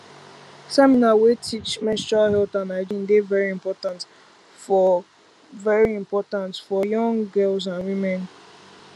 seminar wey teach menstrual health and hygiene dey very important for very important for young girls and women